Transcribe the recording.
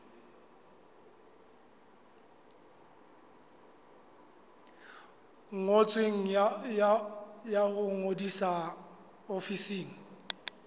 ngotsweng ya ho ngodisa ofising